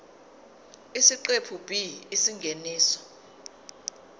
isiqephu b isingeniso